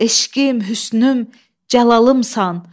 eşqim, hüsnüm, cəlalımsan,